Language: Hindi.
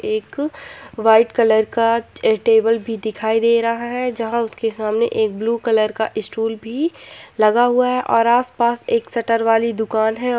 एक व्हाइट कलर का टेबल भी दिखाई दे रहा है जहां उसके सामने एक ब्लू कलर का स्टूल भी लगा हुआ है और आस-पास एक शटर वाली दुकान हैं।